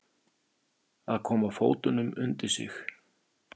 Að koma fótunum undir sig